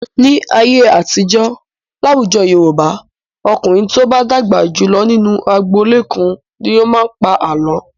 Ní ayé àtijọ́, láwùjọ Yorùbá, ọkùnrin tó bá dàgbà jù lọ nínú agboolé kan ni yóò pa àlọ́.